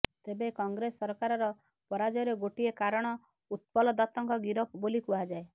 ତେବେ କଂଗ୍ରେସ୍ ସରକାରର ପରାଜୟର ଗୋଟିଏ କାରଣ ଉତ୍ପଲଦତ୍ତଙ୍କ ଗିରଫ ବୋଲି କୁହାଯାଏ